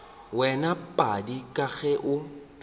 wena padi ka ge o